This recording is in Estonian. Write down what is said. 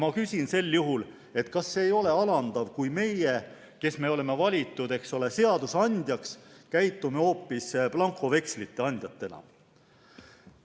Ma küsin, et kas ei ole see alandav, kui meie, kes me oleme valitud seadusandjaks, käitume hoopis blankovekslite andjatena.